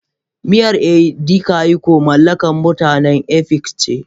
Miyar Edikaikong mallakar mutanen Efiks ce.